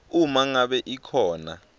uma ngabe ikhona